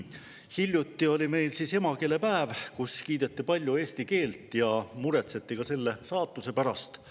Hiljuti oli meil emakeelepäev, kus kiideti palju eesti keelt ja muretseti ka selle saatuse pärast.